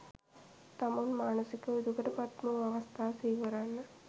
තමුන් මානසිකව දුකට පත්වූ අවස්ථා සිහිකරන්න.